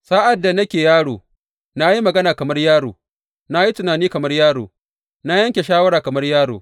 Sa’ad da nake yaro, na yi magana kamar yaro, na yi tunani kamar yaro, na yanke shawara kamar yaro.